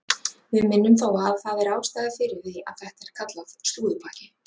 Við minnum þó á að það er ástæða fyrir því að þetta er kallað slúðurpakki.